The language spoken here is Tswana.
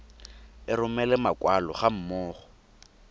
e romela makwalo ga mmogo